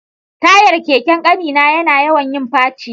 Tayar keken ƙani na yana yawan yin faci